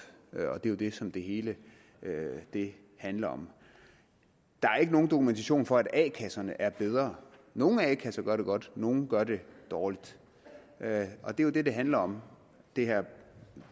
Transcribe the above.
og det er jo det som det hele handler om der er ikke nogen dokumentation for at a kasserne er bedre nogle a kasser gør det godt nogle gør det dårligt og det er jo det det handler om det her